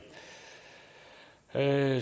der